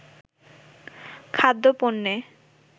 খাদ্য-পণ্যে